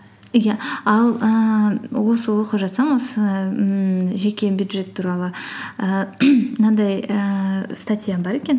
иә ал ііі осы оқып жатсам осы ммм жеке бюджет туралы ііі мынандай ііі статья бар екен